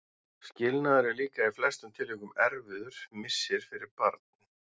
Skilnaður er líka í flestum tilvikum erfiður missir fyrir barn.